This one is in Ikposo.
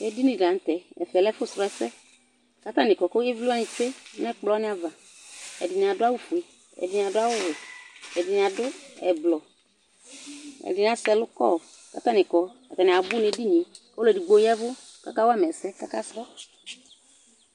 Edini dɩ la nʋ tɛ ,ɛfɛ lǝ ɛfʋ srɔ , ,ɛsɛ ,k'atanɩ kɔ Kʋ ivlɩ wanɩ tsue n'ɛkplɔ wanɩava Ɛdɩnɩ adʋ awʋfue ,ɛdɩnɩ adʋ awʋwɛ ,ɛdɩnɩ adʋ ɛblɔ Ɛdɩnɩ asɛ ɛlʋ kɔ k'atanɩ kɔ Atanɩ zbʋ n'edinie !Ɔlʋ edigbo ya ɛvʋ k'ọka wama ɛsɛ k'aka srɔ